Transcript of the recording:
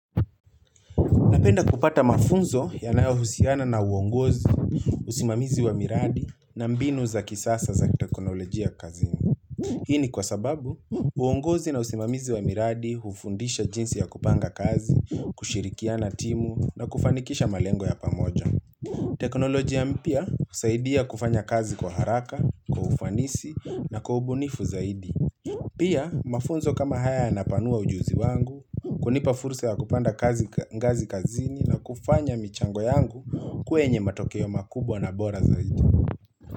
Napenda kupata mafunzo yanayohusiana na uongozi, usimamizi wa miradi na mbinu za kisasa za teknolojia kazini. Hii ni kwa sababu, uongozi na usimamizi wa miradi hufundisha jinsi ya kupanga kazi, kushirikiana timu na kufanikisha malengo ya pamoja. Teknolojia mpya husaidia kufanya kazi kwa haraka, kwa ufanisi na kwa ubunifu zaidi. Pia, mafunzo kama haya anapanua ujuzi wangu, kunipa fursa ya kupanda ngazi kazini na kufanya michango yangu kwenye matokeo makubwa na bora zaidi.